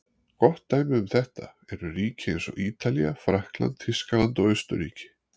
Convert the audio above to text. Gott dæmi um þetta eru ríki eins og Ítalía, Frakkland, Þýskaland og Austurríki.